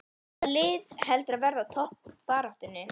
Hvaða lið heldurðu að verði í toppbaráttunni?